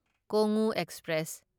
Kongu express